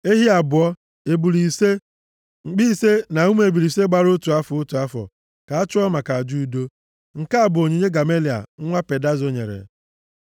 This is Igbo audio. ehi abụọ, ebule ise, mkpi ise na ụmụ ebule ise gbara otu afọ, otu afọ, ka a chụọ maka aja udo. Nke a bụ onyinye Gamaliel nwa Pedazo nyere.